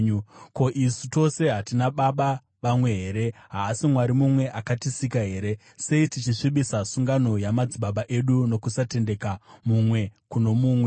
Ko, isu tose hatina baba vamwe here? Haasi Mwari mumwe akatisika here? Sei tichisvibisa sungano yamadzibaba edu nokusatendeka mumwe kuno mumwe?